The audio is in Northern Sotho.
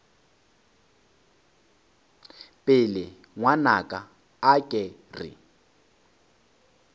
pelo ngwanaka a ke re